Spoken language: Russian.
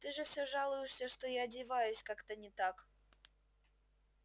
ты же всё жалуешься что я одеваюсь как-то не так